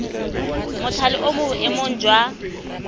mothale o mo boemong jwa